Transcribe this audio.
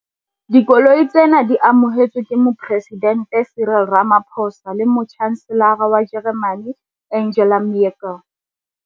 Dikoloi tsena di amohetswe ke Moporesidente Cyril Ramaphosa le Motjhanselara wa Jeremane Angela Merkel.